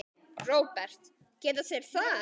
Róbert: Geta þeir það?